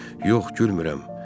Yox, gülmürəm.